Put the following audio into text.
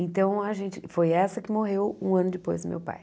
Então, a gente foi essa que morreu um ano depois do meu pai.